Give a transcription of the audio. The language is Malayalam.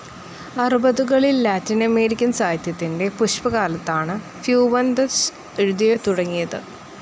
അറുപതുകളിൽ ലാറ്റിനമേരിക്കൻ സാഹിത്യത്തിൻ്റെ പുഷ്കലകാലത്താണ് ഫ്യൂവന്തസ് എഴുതിത്തുടങ്ങിയത്.